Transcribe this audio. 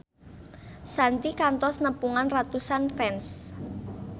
Shanti kantos nepungan ratusan fans